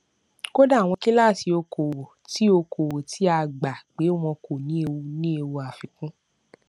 kódà àwọn kíláásì okòòwò tí okòòwò tí a gbà pé wọn kò ní ewu ní ewu àfikún